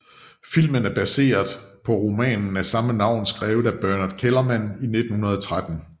Filmen er baseret på romanen af samme navn skrevet af Bernhard Kellermann i 1913